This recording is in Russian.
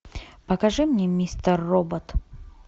покажи мне мистер робот